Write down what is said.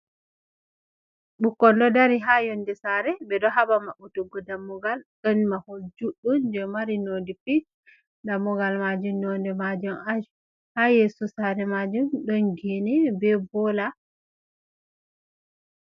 bukkon do dari ha yonde sare ,be do haba mabbutuggo dammugal ,don mahol juddum je mari nond pink dammugal majum nonde majum ash ha yeso sare majum don geei be bola.